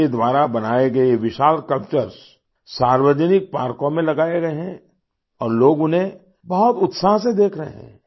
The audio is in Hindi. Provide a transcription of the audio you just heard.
उनके द्वारा बनाए गए ये विशाल स्कल्पचर्स सार्वजानिक पार्कों में लगाये गये हैं और लोग उन्हें बहुत उत्साह से देख रहे हैं